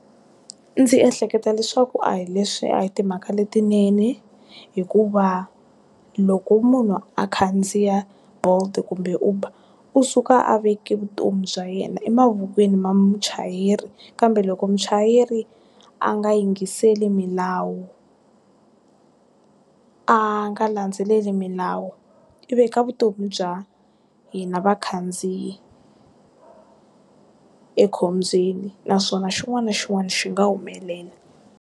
Ndzi ehleketa leswaku a hi leswi a hi timhaka letinene hikuva loko munhu a khandziya bolt kumbe uber u suka a veke vutomi bya yena emavokweni ma muchayeri kambe loko muchayeri a nga yingiseli milawu, a nga landzeleli milawu i veka vutomi bya hina vakhandziyi ekhombyeni naswona xin'wana na xin'wana xi nga humelela.